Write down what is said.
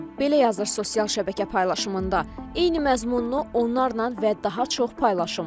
Belə yazır sosial şəbəkə paylaşımında, eyni məzmununu onlarla və daha çox paylaşıram.